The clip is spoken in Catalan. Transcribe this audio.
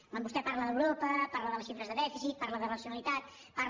quan vostè parla d’europa parla de les xifres de dèficit parlar de racionalitat parla